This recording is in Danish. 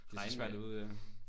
Det er så svært at vide ja